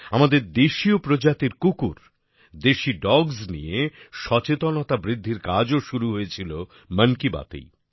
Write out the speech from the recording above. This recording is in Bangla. আমাদের দেশীয় প্রজাতির কুকুর দেশি ডগস নিয়ে সচেতনতা বৃদ্ধির কাজও শুরু হয়েছিল মন কি বাতএই